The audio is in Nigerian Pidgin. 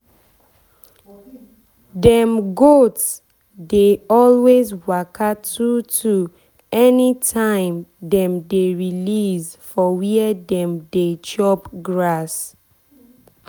dem goat dey always waka two two anytime dem dey release for where dem dey chop grass.